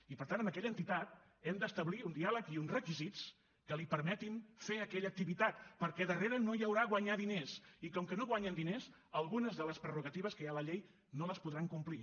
i per tant amb aquella entitat hem d’establir un diàleg i uns requisits que li permetin fer aquella activitat perquè darrere no hi haurà guanyar diners i com que no guanyen diners algunes de les prerrogatives que hi ha a la llei no les podran complir